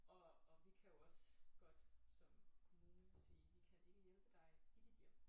Og og vi kan jo også godt som kommune sige vi ikke kan hjælpe dig i dit hjem